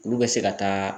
Olu bɛ se ka taa